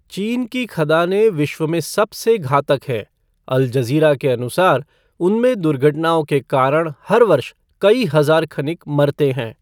चीन की खदानें विश्व में सबसे घातक हैं, अल जज़ीरा के अनुसार, उनमें दुर्घटनाओं के कारण हर वर्ष कई हज़ार खनिक मरते हैं।